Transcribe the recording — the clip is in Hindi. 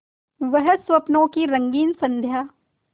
वह स्वप्नों की रंगीन संध्या